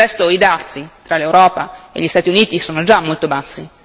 Del resto i dazi tra l'Europa e gli Stati Uniti sono già molto bassi.